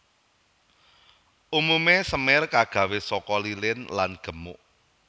Umumé semir kagawé saka lilin lan gemuk